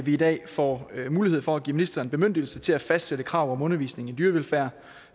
i dag får mulighed for at give ministeren bemyndigelse til at fastsætte krav om undervisning i dyrevelfærd